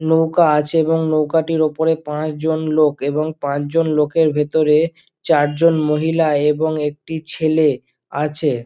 নৌকা আছে এবং নৌকাটির উপরে পাঁচজন লোক এবং পাঁচজন লোকের ভিতরে চারজন মহিলা এবং একটি ছেলে আছে।